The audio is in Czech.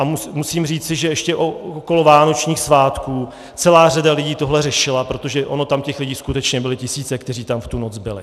A musím říci, že ještě okolo vánočních svátků celá řada lidí tohle řešila, protože ony tam těch lidí skutečně byly tisíce, kteří tam v tu noc byli.